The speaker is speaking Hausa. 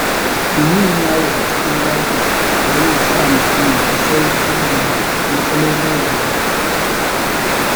Yin yawo a cikin daji yana sa mutum ya ji sauƙi daga matsalolin rayuwa.